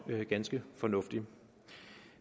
ganske fornuftig